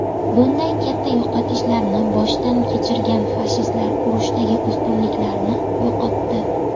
Bunday katta yo‘qotishlarni boshdan kechirgan fashistlar urushdagi ustunliklarini yo‘qotdi.